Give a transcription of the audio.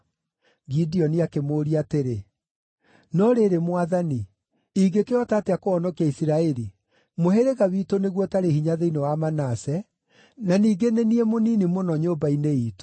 Gideoni akĩmũũria atĩrĩ, “No rĩrĩ, Mwathani, ingĩkĩhota atĩa kũhonokia Isiraeli? Mũhĩrĩga witũ nĩguo ũtarĩ hinya thĩinĩ wa Manase, na ningĩ nĩ niĩ mũnini mũno nyũmba-inĩ iitũ.”